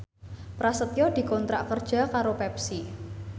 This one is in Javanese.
Prasetyo dikontrak kerja karo Pepsi